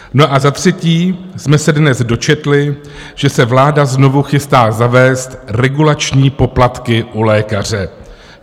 No a za třetí jsme se dnes dočetli, že se vláda znovu chystá zavést regulační poplatky u lékaře.